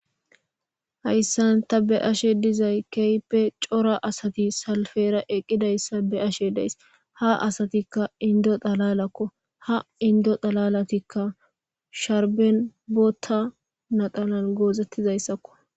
Hayssanta be ashe dizay keype cora asati salfera eqqidayssa be ashe deys ha asatikka indo xalalakko ha indo xalalatikka sharben bootta nadalan goozettizayssakko